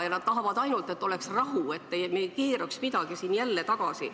Ja nad tahavad ainult, et oleks rahu, et me ei keeraks midagi siin jälle tagasi.